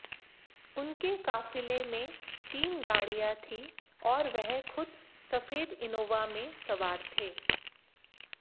उनके काफिले में तीन गाड़ियां थीं और वह खुद सफेद इनोवा में सवार थे